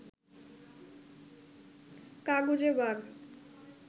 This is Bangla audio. কাগুজে বাঘ